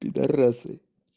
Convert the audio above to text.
пидарасы